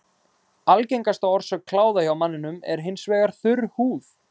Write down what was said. Algengasta orsök kláða hjá manninum er hins vegar þurr húð.